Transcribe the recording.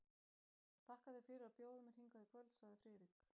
Þakka þér fyrir að bjóða mér hingað í kvöld sagði Friðrik.